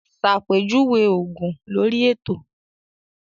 Ṣàpèjúwe òògùn lórí ètò